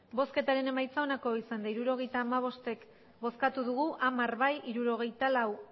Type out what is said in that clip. hirurogeita hamabost eman dugu bozka hamar bai hirurogeita lau